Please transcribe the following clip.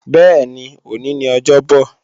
Bẹ́ẹ̀ni, òní ni ọjọ́bò